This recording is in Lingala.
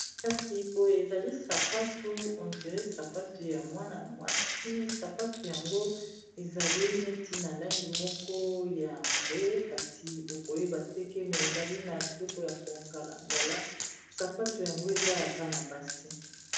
kasi boye ezali sapatu ondire sapatu ya mwana mwasi sapatu yango ezali neti na langi moko ya mbwe kasi okoyeba teke me ezali na biloko ya kongalngala sapatu yango eza ya pana base